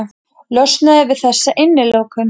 Ég þekki þína líka.